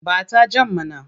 Ba ta jan mana!